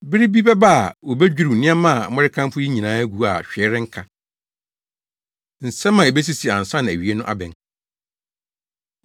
“Bere bi bɛba a, wobedwiriw nneɛma a morekamfo yi nyinaa agu a hwee renka.” Nsɛm A Ebesisi Ansa Na Awiei No Abɛn